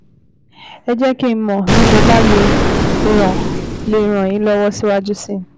Ẹ jẹ́ kí n mọ̀ bí mo bá lè ràn lè ràn yín lọ́wọ́ síwájú sí i